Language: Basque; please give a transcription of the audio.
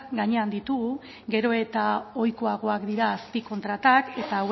gainean ditugu gero eta ohikoagoak dira azpikontratuak eta